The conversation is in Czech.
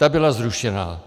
Ta byla zrušena.